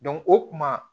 o kuma